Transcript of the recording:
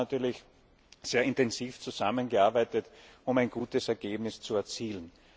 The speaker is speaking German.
Wir haben da natürlich sehr intensiv zusammengearbeitet, um ein gutes Ergebnis zu erzielen.